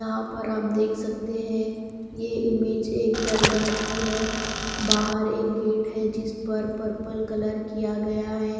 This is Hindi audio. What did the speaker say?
यहाँ पर आप देख सकते हैं ये इमेज एक दरगाह है बाहर एक गेट है जिस पर पर्पल कलर किया गया है।